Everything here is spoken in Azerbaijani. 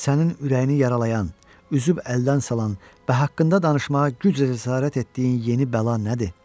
Sənin ürəyini yaralayan, üzüb əldən salan və haqqında danışmağa güclə cəsarət etdiyin yeni bəla nədir?